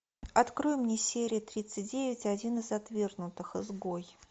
открой мне серию тридцать девять один из отвергнутых изгой